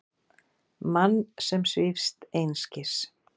Mann sem svífst einskis.